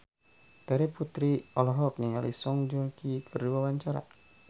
Terry Putri olohok ningali Song Joong Ki keur diwawancara